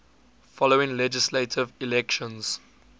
following legislative elections